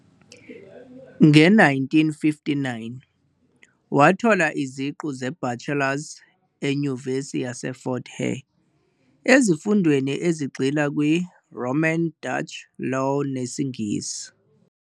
Nge-1959, wathola iziqu ze-bachelors e-Nyuvesi yaseFort Hare ezifundweni ezigxila kwi-Roman Dutch Law nesiNgisi.